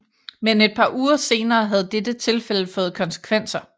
Men et par uger senere havde dette tilfælde fået konsekvenser